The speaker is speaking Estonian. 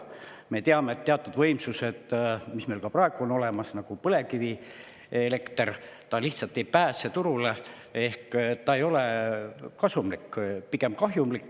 Me teame, et teatud võimsused, mis meil praegu on olemas, nagu põlevkivielekter, lihtsalt ei pääse turule, nii et ta ei ole kasumlik, on pigem kahjumlik.